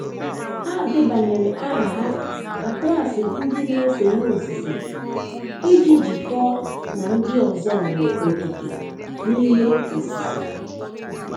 Ha debanyere aha ha na klaasị ndi n' ese ihe osise, iji jikọọ na ndị ọzọ nwere okike n'ihe osise.